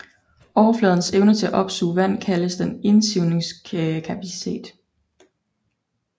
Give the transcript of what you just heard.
Overfladens evne til at opsuge vand kaldes dens indsivningskapacitet